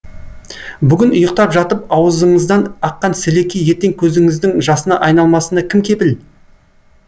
бүгін ұйықтап жатып аузыңыздан аққан сілекей ертең көзіңіздің жасына айналмасына кім кепіл